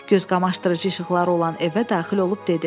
Gözqamaşdırıcı işıqları olan evə daxil olub dedi: